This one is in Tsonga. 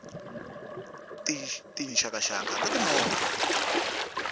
tinxaka nxaka ta ti movha